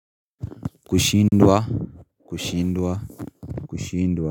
Kushindwa. Kushindwa kushindwa.